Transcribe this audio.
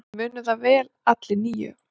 Við munum það vel allir níu.